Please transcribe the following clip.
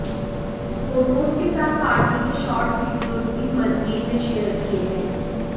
photos के साथ party के शॉर्ट वीडियोज भी मनवीर ने शेयर किए हैं